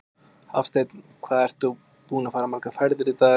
Hafsteinn: Hvað ertu búinn að fara margar ferðir í dag?